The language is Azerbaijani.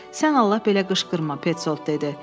Sən Allah belə qışqırma, Peçoldt dedi.